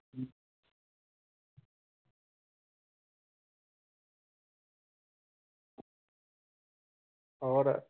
ਹੋਰ